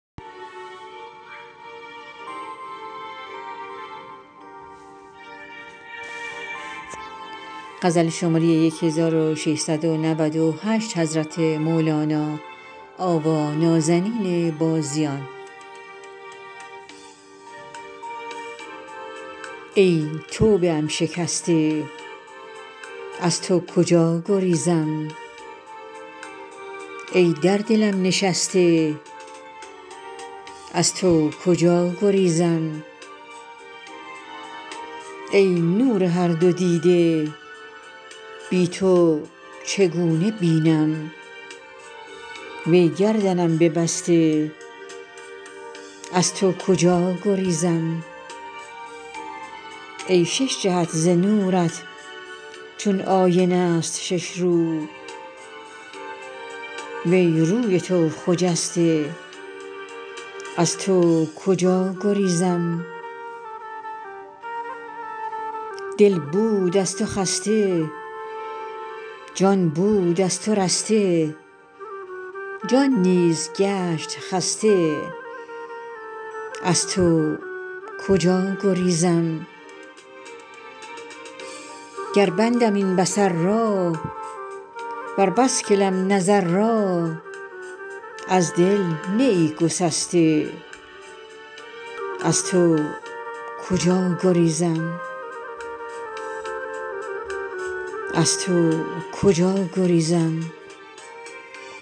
ای توبه ام شکسته از تو کجا گریزم ای در دلم نشسته از تو کجا گریزم ای نور هر دو دیده بی تو چگونه بینم وی گردنم ببسته از تو کجا گریزم ای شش جهت ز نورت چون آینه ست شش رو وی روی تو خجسته از تو کجا گریزم دل بود از تو خسته جان بود از تو رسته جان نیز گشت خسته از تو کجا گریزم گر بندم این بصر را ور بسکلم نظر را از دل نه ای گسسته از تو کجا گریزم